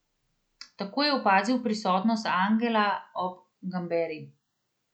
Takoj je opazil prisotnost angela ob Gamberi.